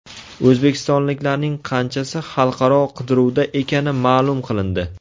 O‘zbekistonliklarning qanchasi xalqaro qidiruvda ekani ma’lum qilindi.